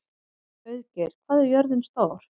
Auðgeir, hvað er jörðin stór?